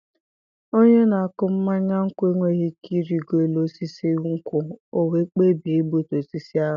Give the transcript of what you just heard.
Onye na-akụ mmanya nkwụ enweghị ike ịrịgo élú osisi nkwụ, ọ wee kpebie igbutu osisi ahụ.